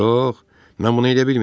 Yox, mən bunu elə bilməyəcəm.